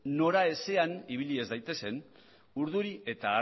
noraezean ibili ez daitezen urduri eta